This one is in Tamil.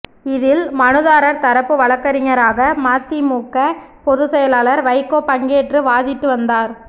இதில் மனுதாரர் தரப்பு வழக்கறிஞராக மதிமுக பொதுச்செயலர் வைகோ பங்கேற்று வாதிட்டு வந்தார்